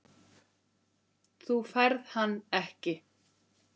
Þú færð hann ekki.